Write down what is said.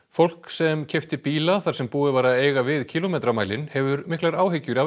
fólk sem keypti bíla þar sem búið var að eiga við kílómetramælinn hefur miklar áhyggjur af